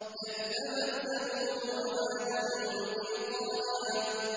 كَذَّبَتْ ثَمُودُ وَعَادٌ بِالْقَارِعَةِ